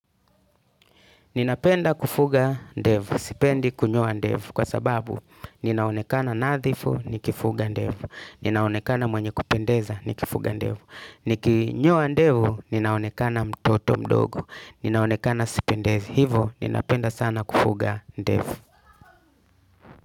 Ninapenda kufuga ndevu. Sipendi kunyoa ndevu. Kwa sababu, ninaonekana nadhifu, nikifuga ndevu. Ninaonekana mwenye kupendeza, nikifuga ndevu. Nikinyoa ndevu, ninaonekana mtoto mdogo. Ninaonekana sipendezi. Hivyo, ninapenda sana kufuga ndevu.